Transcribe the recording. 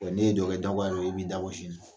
N'e ye dɔ kɛ diyagoya don i bɛ dabɔ sin na